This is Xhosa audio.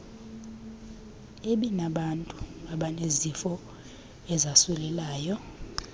ebinabantu abanezifo ezasulelayo